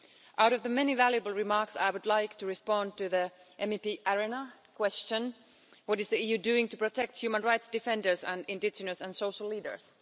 Out of the many valuable remarks, I would like to respond to MEP Arena's question what is the EU doing to protect human rights defenders and indigenous and social leaders?